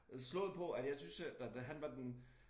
Øh slået på at jeg synes øh da da han var den